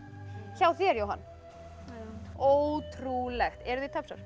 hjá þér Jóhann já ótrúlegt eruð þið